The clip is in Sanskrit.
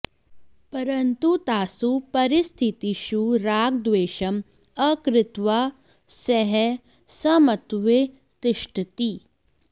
परन्तु तासु परिस्थितिषु रागद्वेषम् अकृत्वा सः समत्वे तिष्ठति